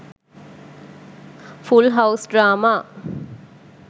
full house drama